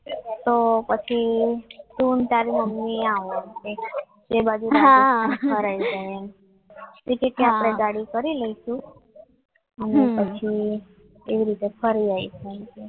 તો પછી તો તારી મમ્મી આવ એ બાજુ એમ તો કેટલા ગાડી કરી દઈશું અને પછી એવી રીતે ફરી આવીશું